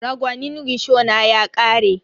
Ragwanin rishona ya ƙare.